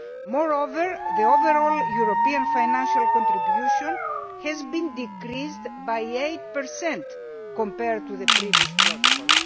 Moreover, the overall European financial contribution has been decreased by 8 compared to the previous protocols.